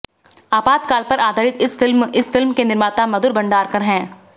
आपातकाल पर आधारित इस फिल्म इस फिल्म के निर्माता मधुर भंडारकर हैं